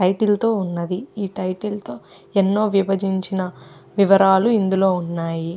Title తో ఉన్నది. ఈ టైటిల్ తో ఎన్నో విభజించిన వివరాలు ఇందులో ఉన్నాయి.